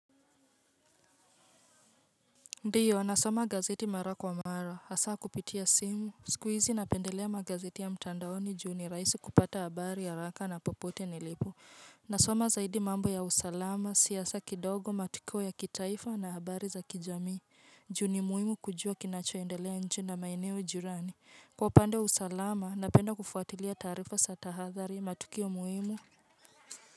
Ndio nasoma gazeti mara kwa mara hasaa kupitia simu sikuizi napendelea magazeti ya mtandaoni juu ni rahisi kupata habari haraka na popote nilipo nasoma zaidi mambo ya usalama siyasa kidogo matukio ya kitaifa na habari za kijamii juu ni muhimu kujua kinachoendelea nchi na maeneo jirani kwa upande wa usalama napenda kufuatilia taarifa za tahathari matukio muhimu.